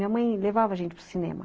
Minha mãe levava a gente para o cinema.